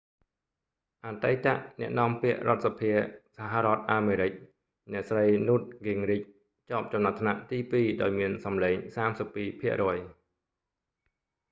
អតីតអ្នកនាំពាក្យរដ្ឋសភាសហរដ្ឋអាមេរិក អ្នកស្រី newt gingrich ជាប់ចំណាត់ថ្នាក់ទីពីរ ដោយមានសំឡេង 32 ភាគរយ